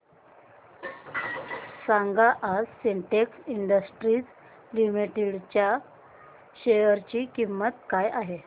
सांगा आज Sintex industries limited च्या शेअर ची किंमत काय आहे